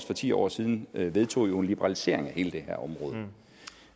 for ti år siden vedtog en liberalisering af hele det